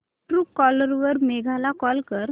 Truecaller वर मेघा ला call कर